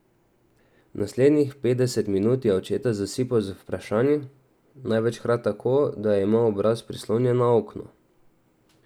Naslednjih petdeset minut je očeta zasipal z vprašanji, največkrat tako, da je imel obraz prislonjen na okno.